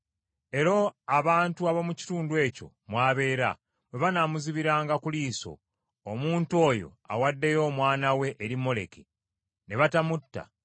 Era abantu ab’omu kitundu ekyo mw’abeera, bwe banaamuzibiranga ku liiso, omuntu oyo awaddeyo omwana we eri Moleki, ne batamutta,